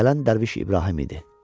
Gələn dərviş İbrahim idi.